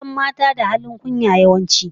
An san mata da halin kunya, yawanci